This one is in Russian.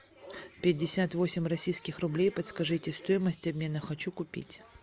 пятьдесят восемь российских рублей подскажите стоимость обмена хочу купить